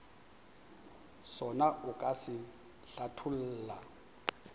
sona o ka se hlatholla